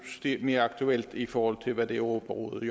blevet mere aktuelt i forhold til hvad europarådet